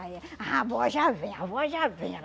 Aí a avó já vem, a avó já vem. Ela